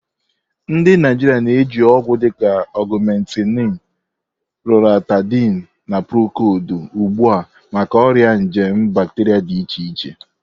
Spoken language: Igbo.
Ndị Naijiria na-eji ọgwụ dịka Ogumentinu, Loratadini, na Procodi ugbu a maka ọrịa nje bacteria dị iche iche